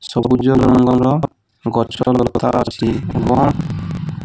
ସବୁଜ ରଙ୍ଗର ଗଛ ଲତା ଅଛି ଏବଂ --